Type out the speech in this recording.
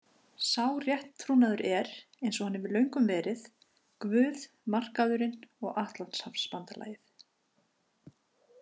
Sá rétttrúnaður er, eins og hann hefur löngum verið, Guð, Markaðurinn og Atlantshafsbandalagið.